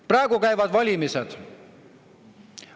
Praegu käivad valimised.